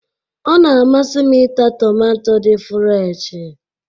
Ọ na-amasị m ịta tomato dị fụreshi